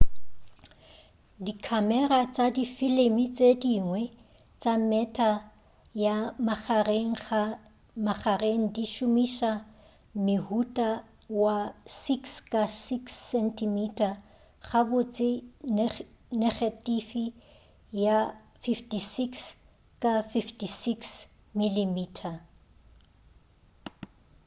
dikhamera tša difilimi tše dingwe tša mehta ya magareng di šomiša mohuta wa 6 ka 6 cm gabotse negetifi ya 56 ka 56 mm